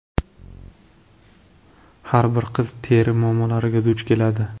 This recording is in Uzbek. Har bir qiz teri muammolariga duch keladi.